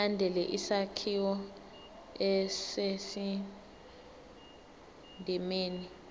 ilandele isakhiwo esisendimeni